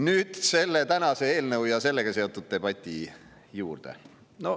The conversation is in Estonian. Nüüd selle tänase eelnõu ja sellega seotud debati juurde.